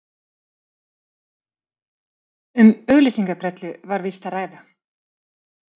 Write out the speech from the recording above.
Um auglýsingabrellu var víst að ræða